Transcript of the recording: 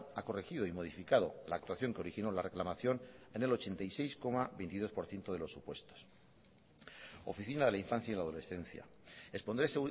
ha corregido y modificado la actuación que originó la reclamación en el ochenta y seis coma veintidós por ciento de los supuestos oficina de la infancia y la adolescencia expondré